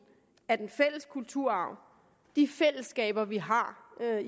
af den fælles kulturarv de fællesskaber vi har